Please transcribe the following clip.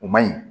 O man ɲi